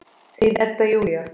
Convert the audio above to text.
Þín Edda Júlía.